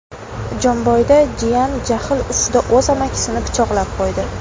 Jomboyda jiyan jahl ustida o‘z amakisini pichoqlab qo‘ydi.